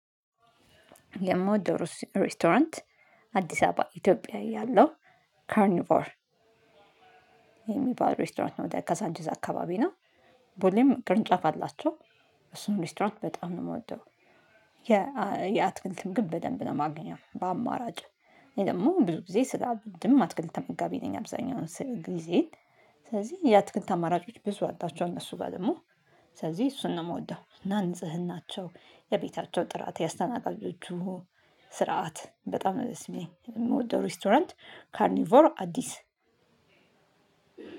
ለእምወደው ሬስቶራንት አዲስ አበባ ኢትዮጵያዊ ያለው ካርኒቮር። የሚባል ሬስቶራንት ነው የካሳንችስ አካባቢ ነው። ቦሌም ቅርንጫፍ አላቸው። እሱን ሬስቶራንት በጣም ነው የምወደው። የአትክልትም ግን በደንብ ነው ማግኘው በአማራጭ ደግሞ ብዙ ጊዜ ስላወድንም አትክልት ተመጋቢ ነኝ አብዛኛውን ስለ ጊዜ። ስለዚህ የአትክልት አማራጮች ብዙ አጣችሁ እነሱ ጋር ደግሞ። ስለዚህ እሱን ነው የምወደው። እና ንጽህናቸው የቤታቸው ጥራት ያስተናጋጆቹ ስርዓት በጣም ነው የሚሰማኝ የምወደው ሬስቶራንት ካርኒቮር አዲስ።